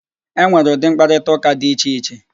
E nwere ụdị mkparịtaụ́ká di iche iche